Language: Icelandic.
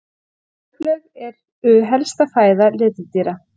Laufblöð eru helsta fæða letidýra.